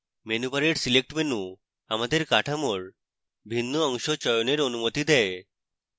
menu bar select menu আমাদের কাঠামোর ভিন্ন অংশ চয়নের অনুমতি দেয়